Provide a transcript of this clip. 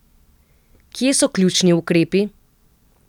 Kje so ključni ukrepi?